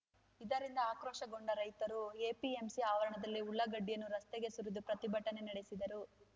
ಇದರಿಂದ ಆಕ್ರೋಶಗೊಂಡ ರೈತರು ಎಪಿಎಂಸಿ ಆವರಣದಲ್ಲೇ ಉಳ್ಳಾಗಡ್ಡಿಯನ್ನು ರಸ್ತೆಗೆ ಸುರಿದು ಪ್ರತಿಭಟನೆ ನಡೆಸಿದರು